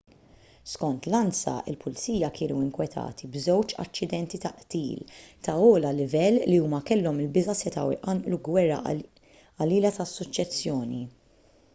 skont l-ansa il-pulizija kienu nkwetati b'żewġ aċċidenti ta' qtil tal-ogħla livell li huma kellhom il-biża' setgħu jqanqlu gwerra qalila tas-suċċessjoni